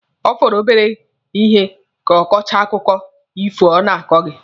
Ọ fọrọ obere ihe ka ọ kọchaa akụkọ ifo ọ na-akọ gị.